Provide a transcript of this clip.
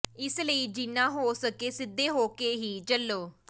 ਇਸ ਲਈ ਜਿਨ੍ਹਾਂ ਹੋ ਸਕੇ ਸਿੱਧੇ ਹੋਕੇ ਹੀ ਚੱਲੋ